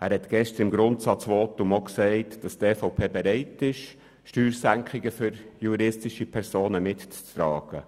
hat gestern im Grundsatzvotum auch gesagt, dass die EVP bereit ist, Steuersenkungen für juristische Personen mitzutragen.